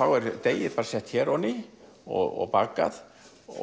þá er deigið sett hér og bakað